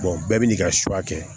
bɛɛ bi n'i ka kɛ